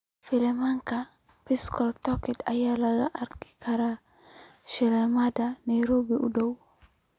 filimkee pascal tokodi ayaan ka arki karaa shineemada nairobi u dhaw